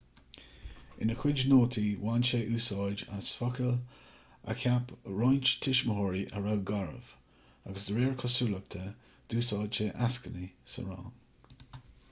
ina chuid nótaí bhain sé úsáid as focail a cheap roinnt tuismitheoirí a raibh garbh agus de réir cosúlachta d'úsáid sé eascainí sa rang